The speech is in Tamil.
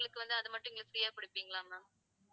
நீங்க free ஆ குடுப்பீங்களா ma'am